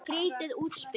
Skrýtið útspil.